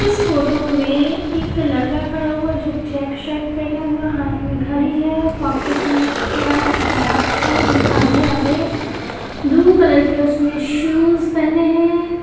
इस फोटो में एक लड़का खड़ा हुआ जो चेक शर्ट पहना हुआ हाथ में घडी है पॉकेट में उसका हाथ है आधे-आधे ब्लू कलर के उसने शूज पहने हैं।